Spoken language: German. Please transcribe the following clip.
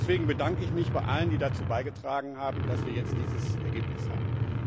Deswegen bedanke ich mich bei allen, die dazu beigetragen haben, dass wir jetzt dieses Ergebnis haben.